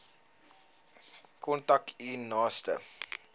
kontak u naaste